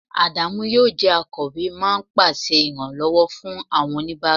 Adamu yi o je akowe ma n pèsè iranlowo fún awọn onibara